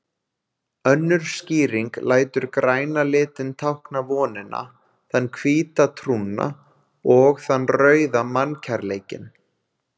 Önnur skýring lætur græna litinn tákna vonina, þann hvíta trúna og þann rauða mannkærleikinn.